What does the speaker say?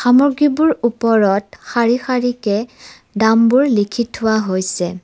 সামগ্ৰীবোৰ ওপৰত শাৰী-শাৰীকে দামবোৰ লিখি থোৱা হৈছে।